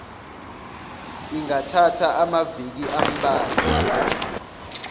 ingathatha amaviki ambalwa